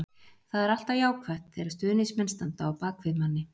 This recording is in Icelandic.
Það er alltaf jákvætt þegar stuðningsmenn standa á bak við manni.